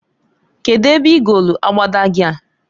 Kedu ebe igolu abada gi a?